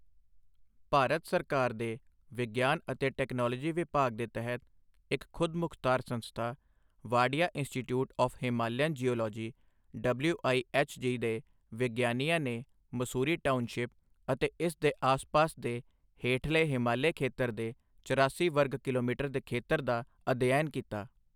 ਭਾਰਤ ਸਰਕਾਰ ਦੇ ਵਿਗਿਆਨ ਅਤੇ ਟੈਕਨਾਲੋਜੀ ਵਿਭਾਗ ਦੇ ਤਹਿਤ ਇੱਕ ਖੁਦਮੁਖ਼ਤਾਰ ਸੰਸਥਾ.ਵਾਡੀਆ institute of Himalayan geology WIHG ਦੇ ਵਿਗਿਆਨੀਆਂ ਨੇ ਮਸੂਰੀ ਟਾਊਨਸ਼ਿਪ ਅਤੇ ਇਸ ਦੇ ਆਸ ਪਾਸ ਦੇ ਹੇਠਲੇ ਹਿਮਾਲੀਆ ਖੇਤਰ ਦੇ ਚਰਾਸੀ ਵਰਗ ਕਿਲੋਮੀਟਰ ਦੇ ਖੇਤਰ ਦਾ ਅਧਿਐਨ ਕੀਤਾ।